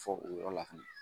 Fɔ o yɔrɔ la fɛnɛ